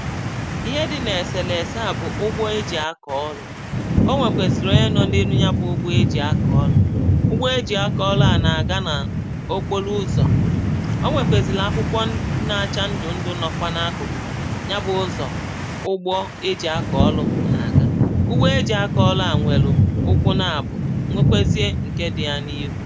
ihe dị n’èsèlèse à bụ̀ ụgbọ eji̇ akọ̀ ọlụ̇ o nwèkwèzìrì onye nọ̇ n’elu ya bụ̇ ụgbọ eji̇ akọ̀ ọlụ̇ ụgbọ eji̇ akọ̀ ọlụ̇ à nà-àga nà okpolo ụzọ̀ o nwèkwèzìlì akwụkwọ na-achà ndụ̀ ndụ̇ nọkwa n’akụ̀kụ̀ ya bụ̇ ụzọ̀ ụgbọ eji̇ akọ̀ ọlụ̇ nà-àga ụgbọ eji̇ akọ̀ ọlụ à nwèlù ụkwụ naàbụ̀ nwekwezie ǹke dị̇ ya n’iru